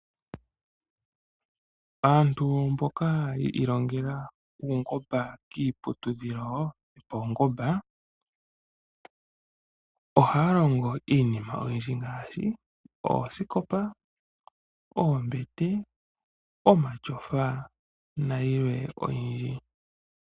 Aantu mboka yi ilongela uungomba kiiputudhilo yo pawungomba, ohaya longo iinima oyindji ngaashi oosikopa, oombete, omashofa nayilwe oyindji.